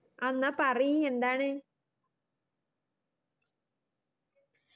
ആ എന്നാ പറയ് എന്താണ്